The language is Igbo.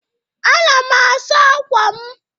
Ana m asa akwa m.